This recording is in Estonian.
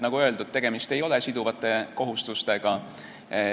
Nagu öeldud, tegemist ei ole siduvate kohustustega.